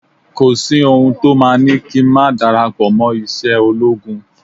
Kò sí ohun to máa ni kí n ma darapo ise ologun